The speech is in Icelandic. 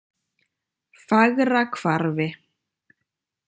Fagrahvarfi